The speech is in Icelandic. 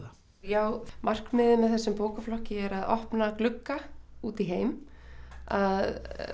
já markmiðið með þessum bókaflokki er að opna glugga út í heim að